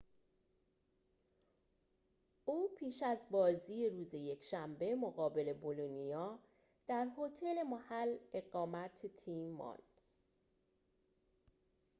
او پیش از بازی روز یکشنبه مقابل بولونیا در هتل محل اقامت تیم ماند